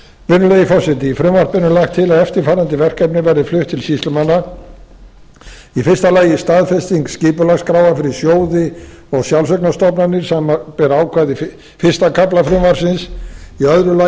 virðulegi forseti í frumvarpinu er lagt til að eftirfarandi verkefni verði flutt til sýslumanna í fyrsta lagi staðfesting skipulagsskráa fyrir sjóði og sjálfseignarstofnanir sem ber ákvæði fyrsta kafla frumvarpsins í öðru lagi